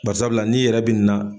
Barisabula n'i yɛrɛ bi na